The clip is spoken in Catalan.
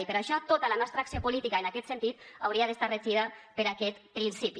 i per això tota la nostra acció política en aquest sentit hauria d’estar regida per aquest principi